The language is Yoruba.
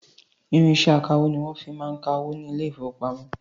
Irinṣẹ akawó ní wọn fi máa ń ka owó ní ile-ìfowópamó